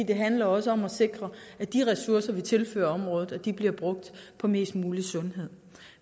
det handler også om at sikre at de ressourcer vi tilfører området bliver brugt på mest mulig sundhed